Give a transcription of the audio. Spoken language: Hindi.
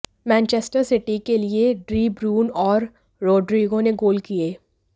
मैनचेस्टर सिटी के लिए डी ब्रयून और रोड्रिगो ने गोल किए